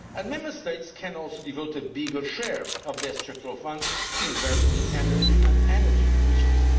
Member States can also devote a bigger share of their Structural Funds to investing in energy and energy efficiency.